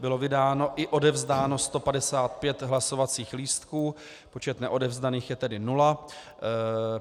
Bylo vydáno i odevzdáno 155 hlasovacích lístků, počet neodevzdaných je tedy nula.